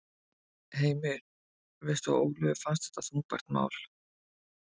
Heimir: Veistu að Ólöfu fannst þetta þungbært mál?